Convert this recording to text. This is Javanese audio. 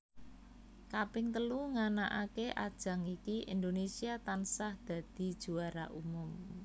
Kaping telu nganakake ajang iki Indonésia tansah dadi juara umum